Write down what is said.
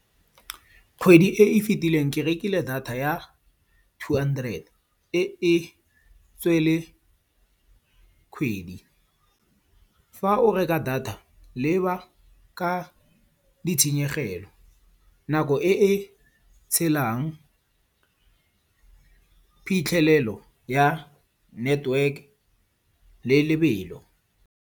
Kgwedi e e fetileng ke rekile data ya two hundred-e e e kgwedi. Fa o reka data leba ka ditshenyegelo, nako e e tshelang, phitlhelelo ya network le lebelo.